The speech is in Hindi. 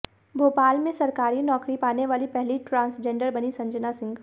भोपाल में सरकारी नौकरी पाने वाली पहली ट्रांसजेंडर बनीं संजना सिंह